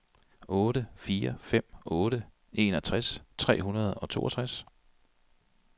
otte fire fem otte enogtres tre hundrede og toogtres